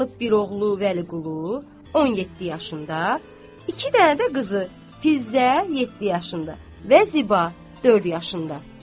Qalıb bir oğlu Vəliqulu, 17 yaşında, iki dənə də qızı, Fizzə 7 yaşında və Ziba 4 yaşında.